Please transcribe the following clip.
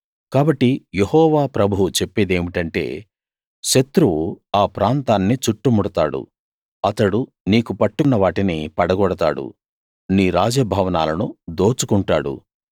కాబట్టి యెహోవా ప్రభువు చెప్పేదేమిటంటే శత్రువు ఆ ప్రాంతాన్ని చుట్టుముడతాడు అతడు నీకు పట్టున్న వాటిని పడగొడతాడు నీ రాజ భవనాలను దోచుకుంటాడు